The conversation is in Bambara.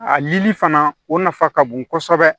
A lili fana o nafa ka bon kosɛbɛ